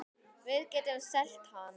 Við getum selt hann.